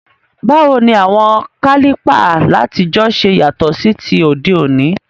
Báwoni àwon Kálìpà látijọ́ se yàtò sí ti òdé òní?